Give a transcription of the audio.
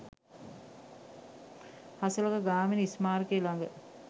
හසලක ගාමිණී ස්මාරකය ළඟ